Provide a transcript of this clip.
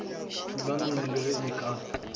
thulanong le ge e ka